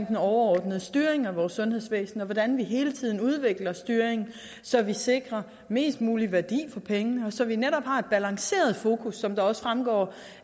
den overordnede styring af vores sundhedsvæsen og om hvordan vi hele tiden udvikler styringen så vi sikrer mest mulig værdi for pengene så vi netop har et balanceret fokus som det også fremgår